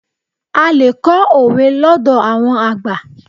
A lè kọ́ òwe lọ́dọ̀ àwọn àgbà.